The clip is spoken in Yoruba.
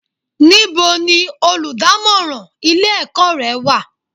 Níbo ni olùdámọ́ràn ilé ẹ̀kọ́ rẹ wà?